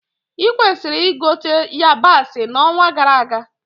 Ị kwesịrị ịgote yabasị na onwa gara aga